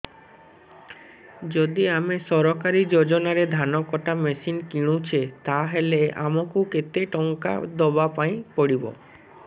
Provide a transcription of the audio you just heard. ଯଦି ଆମେ ସରକାରୀ ଯୋଜନାରେ ଧାନ କଟା ମେସିନ୍ କିଣୁଛେ ତାହାଲେ ଆମକୁ କେତେ ଟଙ୍କା ଦବାପାଇଁ ପଡିବ